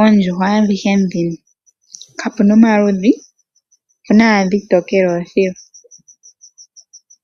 Oondjuhwa adhihe dhino kapuna omaludhi, opuna owala oontokele opuwo.